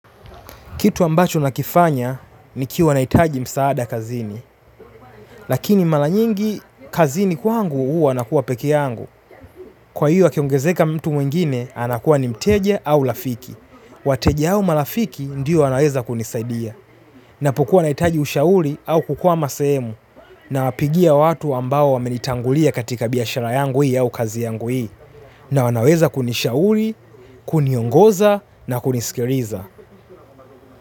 Kitu ambacho nakifanya nikiwa naitaji msaada kazini. Lakini malanyingi kazini kwa angu uwa nakuwa peke yangu. Kwa hiyo akiongezeka mtu mwingine anakuwa ni mteja au lafiki. Wateja au malafiki ndiyo wanaweza kunisaidia. Napokuwa naitaji ushauri au kukua masemu. Na wapigia watu ambao wamenitangulia katika biashara yangu hii au kazi yangu hii. Na wanaweza kunishauri, kuniongoza na kunisikiriza.